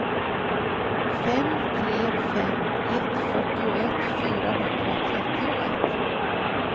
fem tre fem ett fyrtioett fyrahundratrettioett